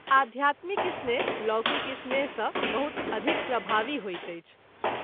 आध्यात्मिक स्नेह लौकिक स्नेह सँ बहुत अधिक प्रभावी होइत अछि।